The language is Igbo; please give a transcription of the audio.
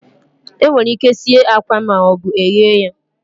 Enwere ike sie akwa ma ọ bụ eghe ya